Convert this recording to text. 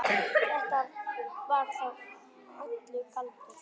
Þetta var þá allur galdur.